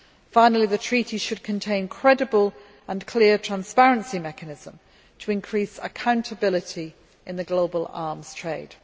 Finally, the treaty should contain a credible and clear transparency mechanism to increase accountability in the global arms trade.